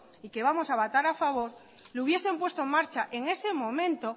y que vamos a votar a favor lo hubiesen puesto en marcha en ese momento